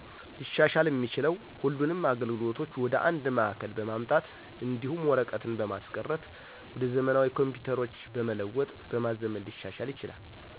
ሊሻሻል እሚችለው ሁሉንም አገልግሎቶች ወደ አንድ ማዕከል በማምጣት እዲሁም ወርቀትን በማስቀረት ወደ ዘመናዊ ኮምፒተሮች በመለወጥ በማዘመን ሊሻሻል ይችላል።